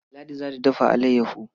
Ladi za ta dafa alayyaho.